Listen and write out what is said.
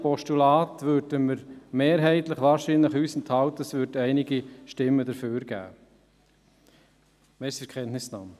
Bei einem Postulat würden wir uns wohl mehrheitlich enthalten, und einige würden wahrscheinlich dafür stimmen.